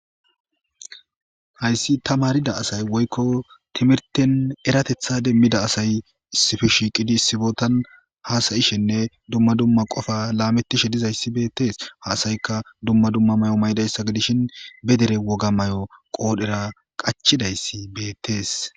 hayssi ta maarida asay woykko timirten eratetha demmida asay sifi shiiqidi sibotan haasayishenne dumma dumma qofa laamettishe dizayssi beettees haasayikka dumma dumma may7o may7dayssa gidishin be dere woga may7o qoodhera qachidayssi beettees